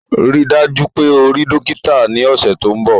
Rii daju pe o rii dokita ni ọsẹ to nbọ!